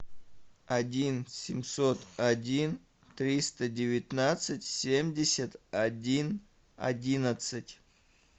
один семьсот один триста девятнадцать семьдесят один одиннадцать